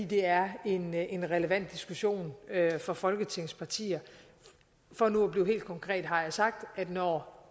det er en en relevant diskussion for folketingets partier for nu at blive helt konkret har jeg sagt at når